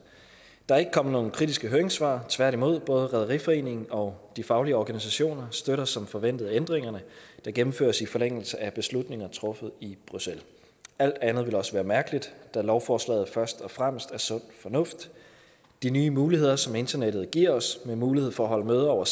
der er ikke kommet nogen kritiske høringssvar tværtimod både rederiforeningen og de faglige organisationer støtter som forventet ændringerne der gennemføres i forlængelse af beslutninger truffet i bruxelles alt andet ville også være mærkeligt da lovforslaget først og fremmest er sund fornuft de nye muligheder som internettet giver os med mulighed for at holde møder over